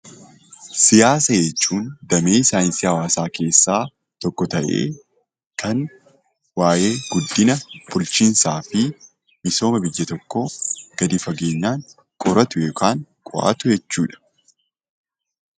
Siyaasa jechuun damee saayinsii hawaasaa keessaa tokko ta'ee, kan waayee guddina, bulchiinsaa fi misooma biyya tokkoo gadi fageenyaan qoratu yookaan qo'atu jechuu dha.